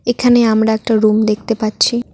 এখানে আমরা একটা রুম দেখতে পাচ্ছি।